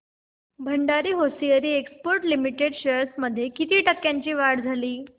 Bhandari hosiery exports limited shares मध्ये किती टक्क्यांची वाढ झाली